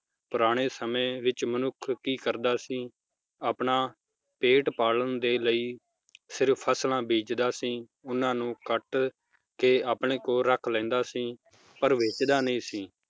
ਪੁਰਾਣੇ ਸਮੇ ਵਿਚ ਮਨੁੱਖ ਕੀ ਕਰਦਾ ਸੀ, ਆਪਣਾ ਪੇਟ ਪਾਲਣ ਦੇ ਲਈ ਸਿਰਫ ਫਸਲਾਂ ਬੀਜਦਾ ਸੀ, ਓਹਨਾ ਨੂੰ ਕੱਟ ਕੇ ਆਪਣੇ ਕੋਲ ਰੱਖ ਲੈਂਦਾ ਸੀ ਪਰ ਵੇਚਦਾ ਨਈ ਸੀ,